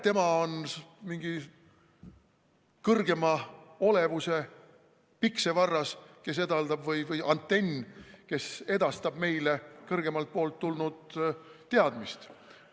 Tema on mingi kõrgema olevuse piksevarras või antenn, kes edastab meile kõrgemalt poolt tulnud teadmist.